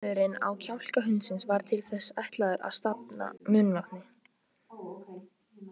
Búnaðurinn á kjálka hundsins var til þess ætlaður að safna munnvatni.